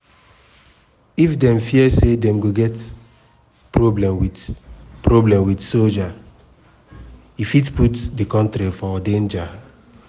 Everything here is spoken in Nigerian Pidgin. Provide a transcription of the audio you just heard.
if dem fear say dem go get problem wit problem wit soldiers e fit put di kontiri for danger.